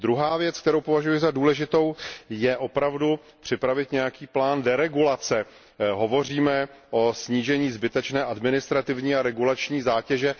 Druhá věc, kterou považuji za důležitou, je opravdu připravit nějaký plán deregulace. Hovoříme o snížení zbytečné administrativní a regulační zátěže.